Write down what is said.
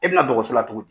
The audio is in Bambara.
E bɛna dɔgɔso la cogo di